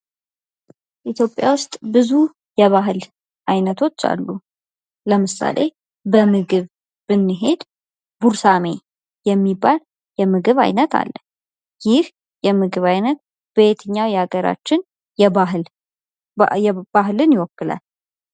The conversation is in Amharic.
ኢትዮጵያ ውስጥ ብዙ የባህል አይነቶች አሉ ። ለምሳሌ በምግብ ብንሄድ ጉርሳሜ የሚባል የምግብ ዓይነት አለ ። ይህ የምግብ ዓይነት የትኛው የሀገራችን ክፍል ባህልን ይወክላል ?